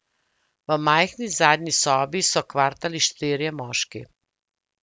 V majhni zadnji sobi so kvartali štirje moški.